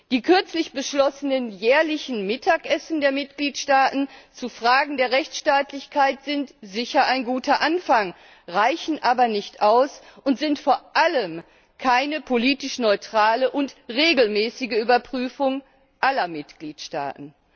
Die kürzlich beschlossenen jährlichen Mittagessen der Mitgliedstaaten zu Fragen der Rechtsstaatlichkeit sind sicher ein guter Anfang, reichen aber nicht aus und sind vor allem keine politisch neutrale und regelmäßige Überprüfung aller Mitgliedstaaten.